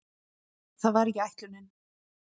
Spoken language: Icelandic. Það var ekki ætlunin.